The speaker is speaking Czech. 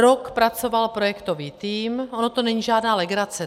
Rok pracoval projektový tým, ono to není žádná legrace.